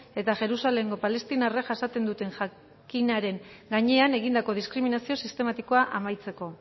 eta jerusalemgo palestinarrak jasaten duten jakinaren gainean egindako diskriminazio sistematikoa amaitzeko